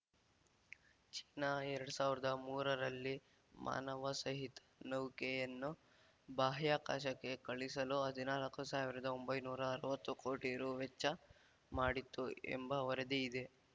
China ಎರಡ್ ಸಾವಿರ್ದಾ ಮೂರರಲ್ಲಿ ಮಾನವಸಹಿತ ನೌಕೆಯನ್ನು ಬಾಹ್ಯಾಕಾಶಕ್ಕೆ ಕಳುಹಿಸಲು ಹದಿನಾಲ್ಕು ಸಾವಿರದಒಂಬೈನೂರಾ ಅರ್ವತ್ತು ಕೋಟಿ ರು ವೆಚ್ಚ ಮಾಡಿತ್ತು ಎಂಬ ವರದಿ ಇದೆ